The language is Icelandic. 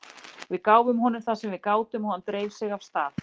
Við gáfum honum það sem við gátum og hann dreif sig af stað.